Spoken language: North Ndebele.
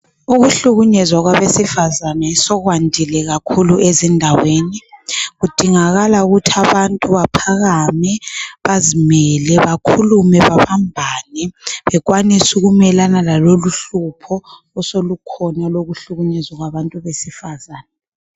Ukuhlukunyezwa kwabesifazane sokwandile kakhulu ezindaweni, kudingakala ukuthi abantu baphakame bazimele, bakhulume bebambane bekwanise ukumelana lalolu uhlupho oselukhona olokuhlukunyezwa kwabantu besifazana.